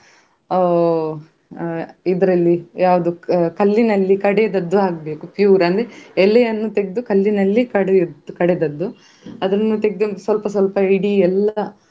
ಅಹ್ ಇದರಲ್ಲಿ ಯಾವುದು ಕಲ್ಲಿನಲ್ಲಿ ಕಡೆದದ್ದು ಆಗ್ಬೇಕು pure ಅಂದ್ರೆ ಎಲೆಯನ್ನು ತೆಗದು ಕಲ್ಲಿನಲ್ಲಿ ಕಡೆದದ್ದು ಕಡೆದದ್ದು ಅದನ್ನು ತೆಗದು ಸ್ವಲ್ಪ ಸ್ವಲ್ಪ ಎಲ್ಲ.